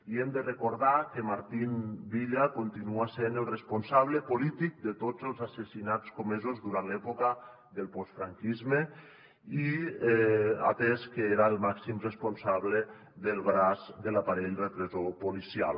i hem de recordar que martín villa continua sent el responsable polític de tots els assassinats comesos durant l’època del postfranquisme atès que era el màxim responsable del braç de l’aparell repressor policial